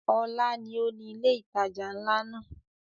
Ọlá ni ó ni ilé ìtajà nla náà.